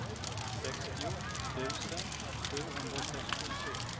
sextio tusen sjuhundrasextiotre